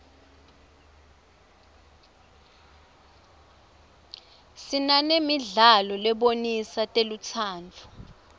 sinanemidlalo lebonisa telutsandvo